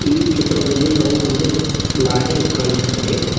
ಈ ಚಿತ್ರದಲ್ಲಿ ನಾವು ಒಂದು ಲಾರಿ ಕಾಣಿಸುತ್ತದೆ.